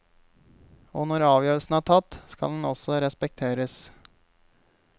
Og når avgjørelsen er tatt, skal den også respekteres.